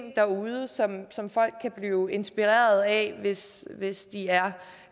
derude som folk kan blive inspireret af hvis hvis de er